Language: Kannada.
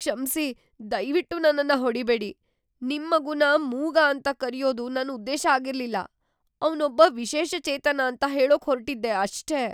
ಕ್ಷಮ್ಸಿ, ದಯ್ವಿಟ್ಟು ನನ್ನನ್ನ ಹೊಡೀಬೇಡಿ. ನಿಮ್ ಮಗುನ ಮೂಗ ಅಂತ ಕರ್ಯೋದು ನನ್ ಉದ್ದೇಶ ಆಗಿರ್ಲಿಲ್ಲ. ಅವ್ನೊಬ್ಬ ವಿಶೇಷಚೇತನ ಅಂತ ಹೇಳೋಕ್‌ ಹೊರ್ಟಿದ್ದೆ ಅಷ್ಟೇ.